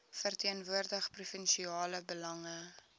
verteenwoordig provinsiale belange